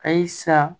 Ayi sa